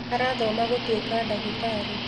Arathoma gũtuĩka ndagĩtarĩ